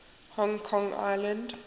hong kong island